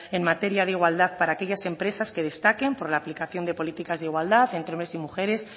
en materia de igualdad para aquellas empresas que destaquen por la aplicación de políticas de igualdad entre hombres y mujeres